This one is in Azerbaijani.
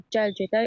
gəl gedək,